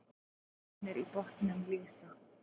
Droparnir í botninum lýsa.